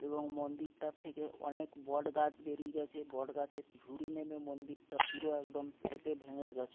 এবং মন্দিরটা থেকে অনেক বটগাছ বেরিয়ে গেছে বট গাছের ঝুড়ি নেমে মন্দিরটা পুরো একদম ফেটে ভেঙে গেছে।